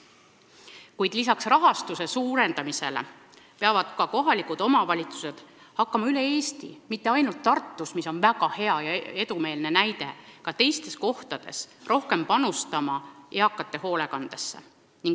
Kuid lisaks rahastuse suurendamisele peavad kohalikud omavalitsused hakkama üle Eesti, mitte ainult Tartus, mis on väga hea ja edumeelne näide, ka teistes kohtades rohkem panustama eakate hoolekandesse.